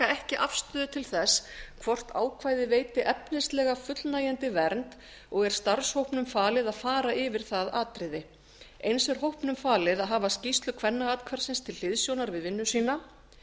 ekki afstöðu til þess hvort ákvæðið veiti efnislega fullnægjandi vernd og er starfshópnum falið að fara yfir það atriði eins er hópnum falið að hafa skýrslu kvennaathvarfsins til hliðsjónar við vinnu sína